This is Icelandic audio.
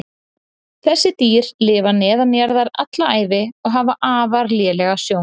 þessi dýr lifa neðanjarðar alla ævi og hafa afar lélega sjón